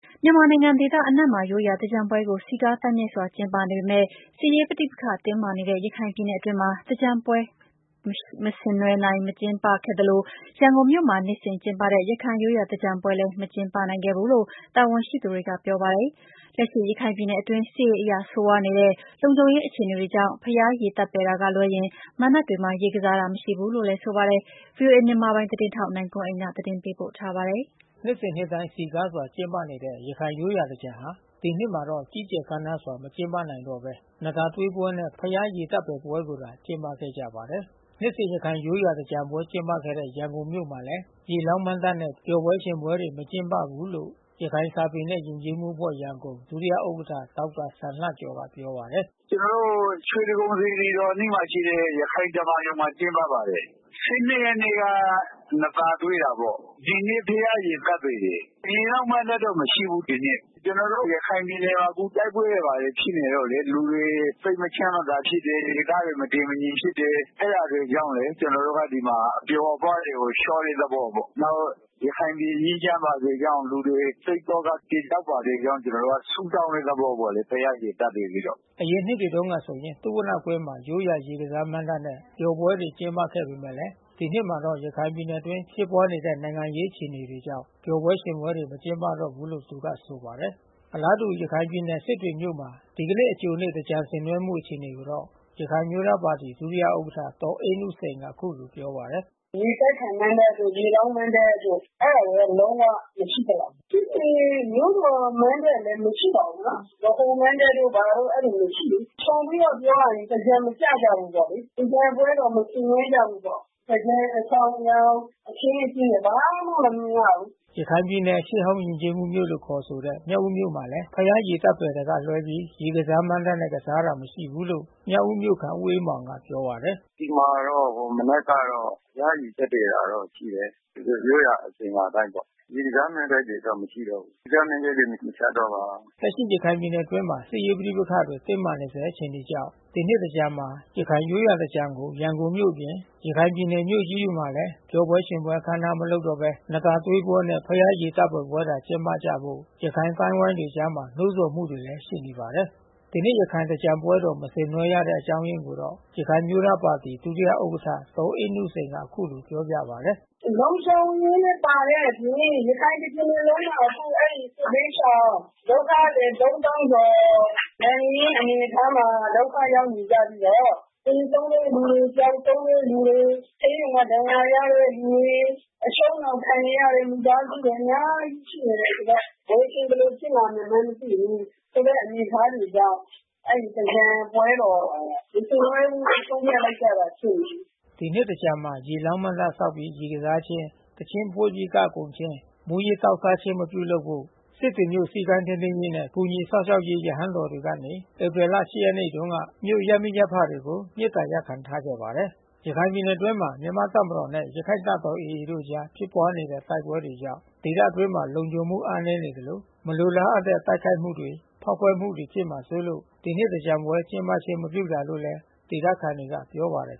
မြန်မာနိုင်ငံဒေသအနှံ့မှာ ရိုးရာသင်္ကြန်ပွဲကို စည်ကားသိုက်မြိုက်စွာ ကျင်းပနေပေမဲ့ စစ်ရေးပဋိပက္ခတင်းမာနေတဲ့ ရခိုင်ပြည်နယ်အတွင်းမှာ သင်္ကြန်ပျော်ရွှင်ပွဲ မကျင်းခဲ့သလို ရန်ကုန်မြို့မှာ နှစ်စဉ်ကျင်းပတဲ့ ရခိုင်ရိုးရာသင်္ကြန်ပွဲလည်း မကျင်းနိုင်ခဲ့ဘူးလို့ တာဝန်ရှိသူတွေက ပြောပါတယ်။ လက်ရှိရခိုင်ပြည်နယ်အတွင်း စစ်ရေးအရ ဆိုးရွားနေတဲ့ လုံခြုံရေးအခြေအနေတွေကြောင့် ဘုရားရေသပ္ပါယ်တာကလွှဲရင် မဏ္ဍပ်တွေမှာ ရေကစားတာ မရှိဘူးလို့လည်း ဆိုကြပါတယ်။ ဗွီအိုအေ မြန်မာပိုင်းသတင်းထောက် နိုင်ကွန်းအိန်ကနေ သတင်းပေးပို့ထားပါတယ်။ နှစ်စဉ်နှစ်တိုင်း စည်ကားစွာကျင်းပနေတဲ့ ရခိုင်ရိုးရာသင်္ကြန်ဟာ ဒီနှစ်မှာတော့ ကြီးကျယ်ခမ်းနားစွာ မကျင်းပတော့ဘဲ နံ့သာသွေးပွဲနဲ့ ဘုရားရေသပ္ပာယ်ပွဲကိုသာ ကျင်းပခဲ့ကြပါတယ်။ နှစ်စဉ်ရခိုင်ရိုးရာ သင်္ကြန်ပွဲကျင်းပခဲ့တဲ့ ရန်ကုန်မြို့မှာလည်း ရေလောင်းမဏ္ဍပ်နဲ့ ပျော်ပွဲရွှင်ပွဲတွေ မကျင်းပဘူးလို့ ရခိုင်စာပေနှင့် ယဉ်ကျေးမှုအဖွဲ့ ဒုဥက္ကဌ ဒေါက်တာစံလှကျော်ကပြောပါတယ်။ “ကျနော်တို့ ရွှေတိဂုံစေတီတော်အနီးမှာရှိတဲ့ ရခိုင်ဓမ္မာရုံမှာ ကျင်းပပါတယ်။ ရက်နေ့က နံ့သာသွေးတာပေါ့။ ဒီနေ့ ဘုရားရေသပ္ပါယ်တယ်။ ရေလောင်းမဏ္ဍပ်တော့မရှိဘူး ဒီနှစ်။ ကျွန်တော်တို့ ရခိုင်ပြည်နယ်မှာ တိုက်ပွဲတွေ ဘာတွေဖြစ်နေလို့လေ။ လူတွေစိတ်မချမ်းမသာဖြစ်တယ်။ ဒေသတွေ မတည်မညိမ်ဖြစ်တယ်။ အဲတာတွေကြောင့်လေ ကျနော်တို့ကဒီမှာ အပျော်အပါးတွေကို လျှော့တဲ့သဘောပေါ့။ နောက် ရခိုင်ပြည်ငြိမ်းချမ်းပါစေကြောင်း လူတွေစိတ်သောက ပြေပျောက်ပါစေကြောင်း ကျွန်တော်တို့ကဆုတောင်းတဲ့ သဘောပေါ့လေ။ ဘုရား ရေသပ္ပါယ်ပြီးတော့။” ယခင်နှစ်တွေတုန်းကဆိုရင် သုဝဏ္ဏကွင်းမှာ ရိုးရာရေကစားမဏ္ဍပ်နဲ့ ပျော်ပွဲတွေကျင်းပခဲ့ပေမဲ့ ဒီနှစ်မှာတော့ ရခိုင်ပြည်နယ်အတွင်း ဖြစ်ပါွးနေတဲ့ နိုင်ငံရေးအခြေအနေတွေကြောင့် ပျော်ပွဲရွှင်ပွဲတွေ မကျင်းပတော့ဘူးလို့ သူကဆိုပါတယ်။ အလားတူ ရခိုင်ပြည်နယ် စစ်တွေမြို့မှာ ဒီကနေ့အကြိုနေ့ သင်္ကြန်ဆင်နွဲှနေမှုအခြေအနေကိုတော့ ရခိုင်အမျိုး သားပါတီ ဒုတိယဥက္ကဌဒေါ်အေးနုစိန်က အခုလိုပြောပြပါတယ်။ “ရေပက်ခံမဏ္ဍပ်တို့ ရေလောင်းမဏ္ဍပ်တို့ အဲတာတွေတော့လုံးဝ မရှိသလောက်ဘဲ။ စစ်တွေမြို့တော်မဏ္ဍပ်လည်း မရှိပါဘူးနော်။ ဗဟိုမဏ္ဍပ်တို့ ဘာတို့အဲဒီလိုမရှိဘူး။ ခြုံပြီးတော့ပြောရရင် သင်္ကြန်မကျကြဘူးလေ။ သင်္ကြန်ပွဲတော် မဆင်နွှဲကြဘူးပေါ့။ သင်္ကြန်အဆောင်ယောင် အခင်းအကျင်းတွေ ဘာမှမမြင်ရဘူး။” ရခိုင်ပြည်နယ် ရှေ့ဟောင်းယဉ်ကျေးမှုမြို့လို့ခေါ်ဆိုတဲ့ မြောက်ဦးမြို့မှာလည်း ဘုရားရေသပ္ပါယ်တာကလွှဲပြီး ရေ ကစားမဏ္ဍပ်နဲ့ ကစားတာမရှိဘူးလို့ မြောက်ဦးမြို့ခံဦးအေးမောင်ကပြောပါတယ်။ “ဒီမှာတော့ မနက်ကတော့ ဘုရားရေသပ္ပါယ်တာတော့ ရှိတယ်။ သူတို့ရိုးရာအစဉ်အလာအတိုင်းပေါ့။ ရေကစားမဏ္ဍပ်တွေ မရှိတော့ဘူး။ တခြားမဏ္ဍပ်တွေ မချတော့ပါ။” လက်ရှိရခိုင်ပြည်နယ်အတွင်းမှာ စစ်ရေးပဋိပက္ခတွေတင်းမာနေဆဲ အခြေအနေကြောင့် ဒီနှစ်သင်္ကြန်မှာ ရခိုင် ရိုးရာသင်္ကြန်ကို ရန်ကုန်မြို့အပြင် ရခိုင်ပြည်နယ်မြို့ကြီးတွေမှာ ပျော်ပွဲရွှင်ပွဲ အခမ်းအနားမလုပ်တော့ဘဲ နံ့သာသွေးပွဲနဲ့ ဘုရားရေသပ္ပာယ်ပွဲသာ ကျင်းပကြဖို့ ရခိုင်အသိုင်းဝိုင်းတွေအကြား နှိုးဆော်မှုတွေကလည်း ရှိနေပါတယ်။ ဒီနှစ်ရခိုင်သင်္ကြန်ပွဲတော် မဆင်နွှဲတဲ့အကြောင်းအရင်းကိုတော့ ရခိုင်အမျိုးသားပါတီ ဒုတိယဥက္ကဌ ဒေါ်အေးနုစိန် ကအခုလိုပြောပြပါတယ်။ “လုံခြုံရေးလည်းပါတဲ့အပြင် ရခိုင်တပြည်နယ်လုံးမှာ အခုစစ်ဘေးရှောင် ဒုက္ခသည် ကျော် လက်ငင်းအနေအထားမှာ ဒုက္ခရောက်နေကြပြီးတော့ သေဆုံးတဲ့လူတွေ ပျောက်ဆုံးတဲ့လူတွေ ဆေးရုံမှာဒဏ်ရာရတဲ့သူတွေ။ အချုပ်နှောင်ခံနေရတဲ့မိသားစုဝင်တွေ အများကြီးရှိနေတယ်ဆိုတော့။ ဘယ်အချိန်ဘယ်လိုဖြစ်လာမှန်း မသိဘူး။ ဆိုတဲ့ အနေအထားတွေကြောင့် အဲဒီသင်္ကြန်ပွဲတော် မဆင်နွှဲဘူးဆုံးဖြတ်လိုက်ကြတာ ဖြစ်မယ်။” အခုနှစ်သင်္ကြန်မှာ ရေလောင်းမဏ္ဍပ်ဆောက်ပြီး ရေကစားခြင်း သီချင်းဖွင်ပြီး ကခုန်ခြင်း မူးယစ်သောက်စားခြင်း မပြုလုပ်ဖို့ စစ်တွေမြို့ စည်းကမ်းထိန်းသိမ်းရေးနဲ့ ကူညီစောင့်ရှောက်ရေးရဟန်းတော်တွေကနေ ဧပြီလ ရက်နေ့တုန်းကမြို့ ရပ်မိရပ်ဖတွေကို မေတ္တာရပ်ခံထားခဲ့ပါတယ်။ ရခိုင်ပြည်နယ်အတွင်းမှာ မြန်မာ့တပ်မတော်နဲ့ ရခိုင့်တပ်တော် AA တို့အကြား ဖြစ်ပွါးနေတဲ့တိုက်ပွဲကြောင့် ဒေသအတွင်း လုံခြုံမှုအားနည်းနေသလို မလိုလားအပ်တဲ့တိုက်ခိုက်မှု ဖေါက်ခွဲမှုတွေဖြစ်မှာစိုးလို့ ဒီနှစ်သင်္ကြန်ပွဲ ကျင်းပခြင်းမပြုတာလို့လည်း ဒေသခံတွေက ပြောပါတယ်